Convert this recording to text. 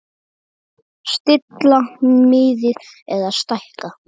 Stilla miðið eða stækka mörkin?